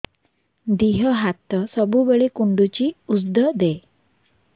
ଦିହ ହାତ ସବୁବେଳେ କୁଣ୍ଡୁଚି ଉଷ୍ଧ ଦେ